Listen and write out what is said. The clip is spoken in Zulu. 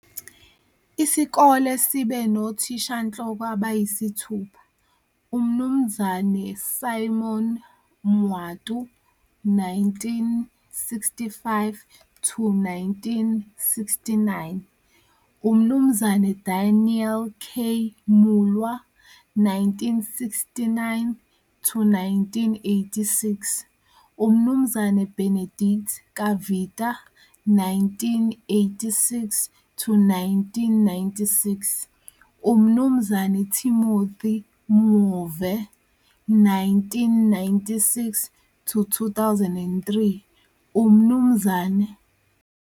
Isikole sibe nothishanhloko abayisithupha - uMnu Simon Mwatu, 1965-1969, uMnu Daniel K. Mulwa, 1969-1986, uMnu Benedict Kavita, 1986-1996, uMnu Timothy Mwove, 1996-2003, uMnu.